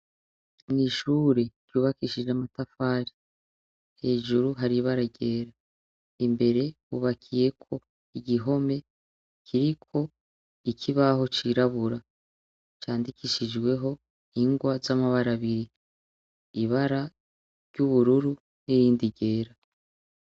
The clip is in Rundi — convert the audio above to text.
Mw'ishure ryubakishije amatafari hejuru haribara ryera imbere ubakiyeko igihome kiriko ikibaho cirabura candikishijweho ingwa z'amabarabiri ibara ry'ubururu n'irindi ryera.